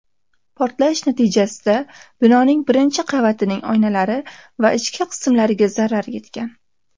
Portlash natijasida binoning birinchi qavatining oynalari va ichki qismlariga zarar yetgan.